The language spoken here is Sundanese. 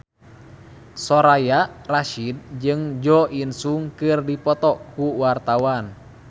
Soraya Rasyid jeung Jo In Sung keur dipoto ku wartawan